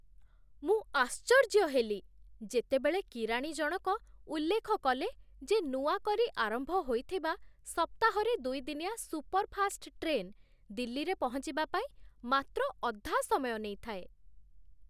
ମୁଁ ଆଶ୍ଚର୍ଯ୍ୟ ହେଲି ଯେତେବେଳେ କିରାଣୀ ଜଣକ ଉଲ୍ଲେଖ କଲେ ଯେ ନୂଆକରି ଆରମ୍ଭ ହୋଇଥିବା ସପ୍ତାହରେ ଦୁଇଦିନିଆ ସୁପର୍‌ଫାଷ୍ଟ୍ ଟ୍ରେନ୍ ଦିଲ୍ଲୀରେ ପହଞ୍ଚିବା ପାଇଁ ମାତ୍ର ଅଧା ସମୟ ନେଇଥାଏ!